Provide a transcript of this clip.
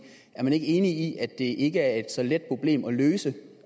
er man ikke enig i at det ikke er et så let problem at løse